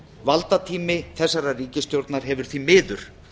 valdatími þessarar ríkisstjórnar hefur því miður